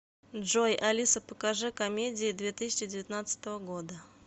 джой алиса покажи комедии две тысячи девятнадцатого года